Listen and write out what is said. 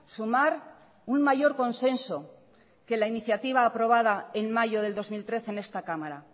sumar un mayor consenso que la iniciativa aprobada en mayo del dos mil trece en esta cámara